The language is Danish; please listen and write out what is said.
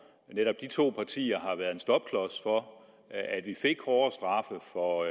netop de to partier har været en stopklods for at vi fik hårdere straffe for